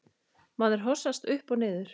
Maður hossast upp og niður.